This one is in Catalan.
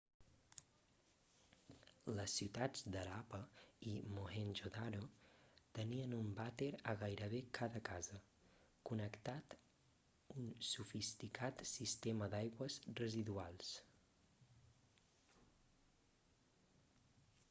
les ciutats de harappa i mohenjo-daro tenien un vàter a gairebé cada casa connectat un sofisticat sistema d'aigües residuals